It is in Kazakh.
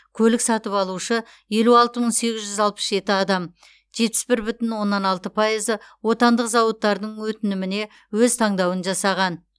көлік сатып алушы елу алты мың сегіз жүз алпыс жеті адам жетпіс бір бүтін оннан алты пайызы отандық зауыттардың өтініміне өз таңдауын жасаған